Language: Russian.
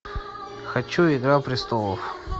хочу игра престолов